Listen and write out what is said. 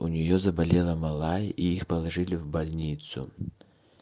у нее заболела малая и их положили в больницу